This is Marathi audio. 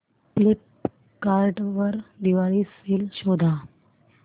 फ्लिपकार्ट वर दिवाळी सेल शोधा